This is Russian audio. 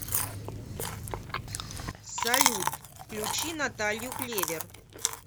салют включи наталью клевер